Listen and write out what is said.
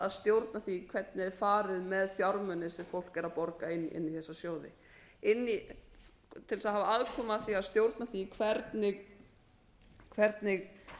að stjórna því hvernig er farið með fjármuni sem fólk er að borga inn í þessa sjóði til þess að hafa aðkomu að því að stjórna því hvernig